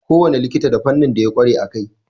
Kowane likita da fannin da ya ƙware a kai.